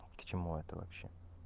к чему это вообще